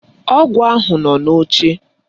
Ọgwụ ahụ nọ n'oche.